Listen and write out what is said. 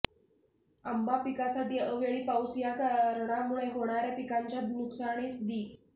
आंबा पिकासाठी अवेळी पाऊस या कारणामुळे होणार्या पिकांच्या नुकसानीस दि